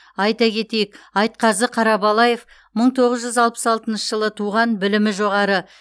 айта кетейік айтқазы қарабалаев мың тоғыз жүз алпыс алтыншы жылы туған білімі жоғары